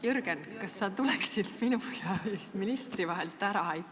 Jürgen, kas sa tuleksid minu ja ministri vahelt ära?